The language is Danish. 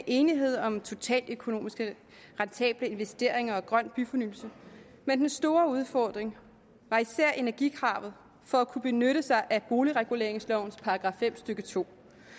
enighed om totaløkonomisk rentable investeringer og grøn byfornyelse men den store udfordring var især energikravet for at kunne benytte sig af boligreguleringslovens § fem stykke to